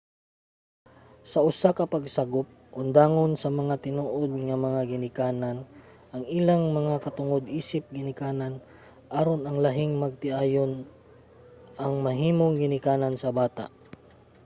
sa usa ka pagsagop undangon sa mga tinuod nga mga ginikanan ang ilang mga katungod isip ginikanan aron ang lahing magtiayon ang mahimong ginikanan sa bata